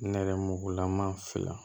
Nɛrɛmugugulama fila